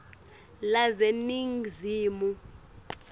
laseningizimu